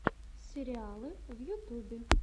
сериалы в ютубе